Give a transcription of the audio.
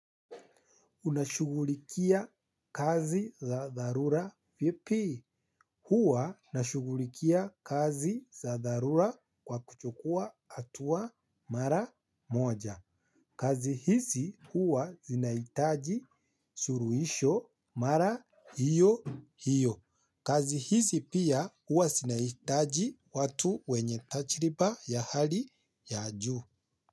Unashughulikia kazi za dharura vipi. Huwa nashughulikia kazi za dharura kwa kuchukua hatuwa mara moja. Kazi hizi huwa inahitaji suluisho mara hiyo hiyo. Kazi hizi pia huwa zinahitaji watu wenye tajriba ya hali ya juu.